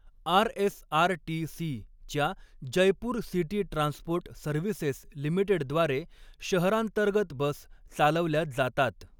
आर.एस.आर.टी.सी.च्या Jaipur City Transport Services लिमिटेडद्वारे शहरांतर्गत bus चालवल्या जातात.